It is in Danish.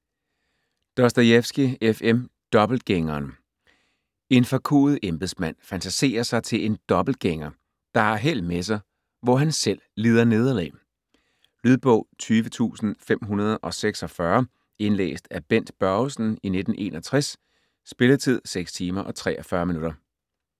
Dostojevskij, F. M.: Dobbeltgængeren En forkuet embedsmand fantaserer sig til en dobbeltgænger, der har held med sig, hvor han selv lider nederlag. Lydbog 20546 Indlæst af Bent Børgesen, 1961. Spilletid: 6 timer, 43 minutter.